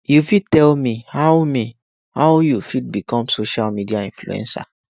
you fit tell me how me how you fit become social media influencer